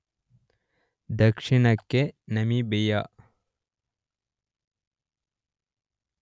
ದಕ್ಷಿಣಕ್ಕೆ ನಮಿಬಿಯ